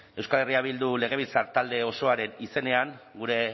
euskal herria bildu legebiltzar talde osoaren izenean gure